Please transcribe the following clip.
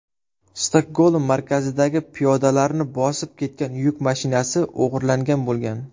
Stokgolm markazidagi piyodalarni bosib ketgan yuk mashinasi o‘g‘irlangan bo‘lgan.